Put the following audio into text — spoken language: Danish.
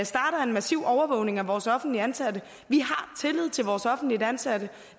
starter en massiv overvågning af vores offentligt ansatte vi har tillid til vores offentligt ansatte